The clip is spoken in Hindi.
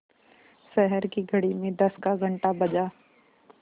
शहर की घड़ी में दस का घण्टा बजा